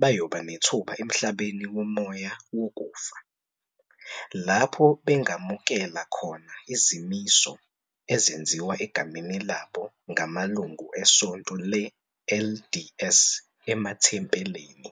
bayoba nethuba emhlabeni womoya wokufa, lapho bengamukela khona izimiso ezenziwa egameni labo ngamalungu eSonto le-LDS emathempelini.